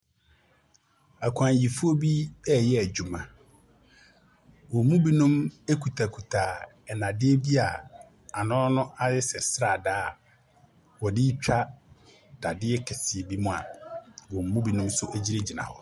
Akwanyifoɔ bi reyɛ adwuma. Wɔn mu binom kitakita nnadeɛ bi a ano no ayɛ sɛ sradaa, a wɔde retwa dadeɛ kɛseɛ bi mu a wɔn mu binom nso gyinagyina hɔ.